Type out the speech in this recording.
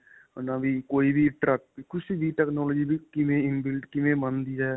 ਉਨ੍ਹਾਂ ਦੀ ਕੋਈ ਵੀ ਕੁੱਝ ਵੀ technology inbuild ਕਿਵੇਂ ਬਣਦੀ ਹੈ.